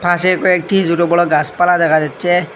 পাশে কয়েকটি ছোটবড় গাসপালা দেখা যাচ্ছে।